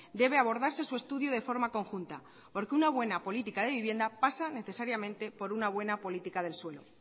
debe abordarse su estudio de forma conjunta porque una buena política de vivienda pasa necesariamente por una buena política del suelo